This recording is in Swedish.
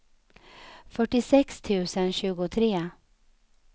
fyrtiosex tusen tjugotre